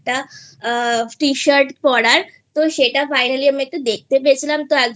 তার একটা Tshirt পরার তো সেটা Finally আমি একটু দেখতে পেয়েছিলাম